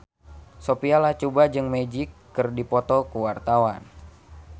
Sophia Latjuba jeung Magic keur dipoto ku wartawan